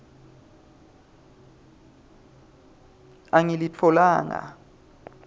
angilitfolanga